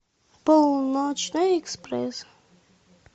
полночный экспресс